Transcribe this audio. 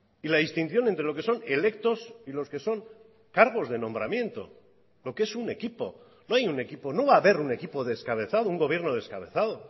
y la distinción entre lo que son electos y los que son cargos de nombramiento lo que es un equipo no hay un equipo no va a haber un equipo descabezado un gobierno descabezado